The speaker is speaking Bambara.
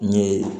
N ye